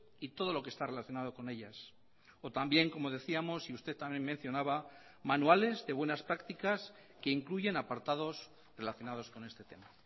y todo lo que está relacionado con ellas o también como decíamos y usted también mencionaba manuales de buenas prácticas que incluyen apartados relacionados con este tema